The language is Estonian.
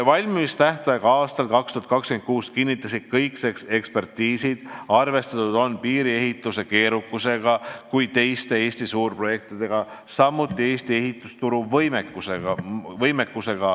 Valmimise võimalikkust aastal 2026 kinnitasid kõik ekspertiisid, arvestati nii piiriehituse keerukusega kui ka teiste Eesti suurprojektidega, samuti Eesti ehitusturu võimekusega.